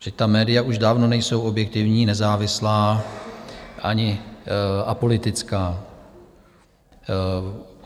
Vždyť ta média už dávno nejsou objektivní, nezávislá ani apolitická.